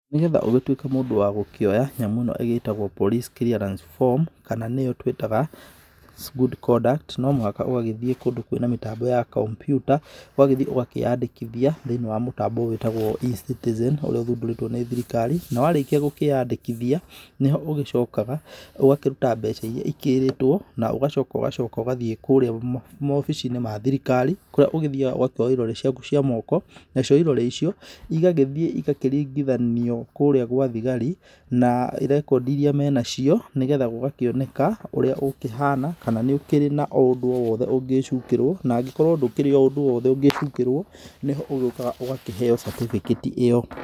Nĩ getha ũgĩtuĩke mũndũ wa gũkĩoya nyamũ ĩno ĩgĩtagũo police clearance form, kana nĩyo tũĩtaga good condũct, no mũhaka ũgagĩthiĩ kũndũ kwĩ na mĩtambo ya komputa, ũgagĩthiĩ ũgakĩyandĩkithia thĩiniĩ wa mũtambo wĩtagũo eCitizen, ũrĩa ũthundũrĩtũo nĩ thirikari, na warĩkia gũkĩyandĩkithia nĩho ũgĩcokaga, ũgakĩruta mbeca iria ikĩrĩtũo, na ũgacoka ũgacoka ũgathiĩ kũrĩa mawabici-inĩ ma thirikari, kũrĩa ũgĩthiaga ũgakĩoyũo irore ciaku cia moko, nacio irore icio igagĩthiĩ ĩgakĩringithanio kũrĩa gũa thigari, na rekondĩ iria menacio nĩ getha gũgakĩoneka ũrĩa ũkĩhana, kana nĩ ũkĩrĩ na ũndũ o wothe ũngĩcukĩrũo, na angĩkorũo ndũrĩ ũndũ o wothe ũngĩcukĩrũo, nĩho ũkaga ũgakĩheo certificate ĩyo.